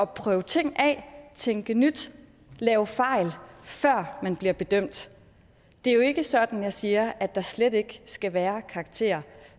prøve ting af tænke nyt lave fejl før man bliver bedømt det er jo ikke sådan at jeg siger at der slet ikke skal være karakterer